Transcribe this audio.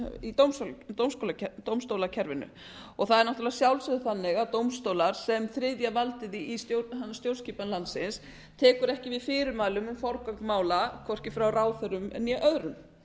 í dómstólakerfinu og það er náttúrlega að sjálfsögðu þannig að dómstólar sem þriðja valdið í stjórnskipan landsins tekur ekki við fyrirmælum um forgöngu mála hvorki frá ráðherrum né öðrum